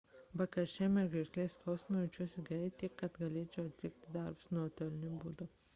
be karščiavimo ir gerklės skausmo jaučiuosi gerai tiek kad galėčiau atlikti darbus nuotoliniu būdu